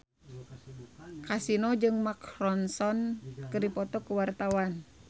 Kasino jeung Mark Ronson keur dipoto ku wartawan